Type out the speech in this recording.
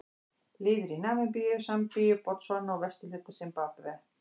Lifir í Namibíu, Sambíu, Botsvana og vesturhluta Simbabve.